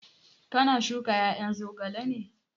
Ka na shuka ƴaƴan zogalen ne?